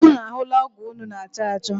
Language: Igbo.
Ụnụ ahụla ọgo ụnụ na- achọ achọ?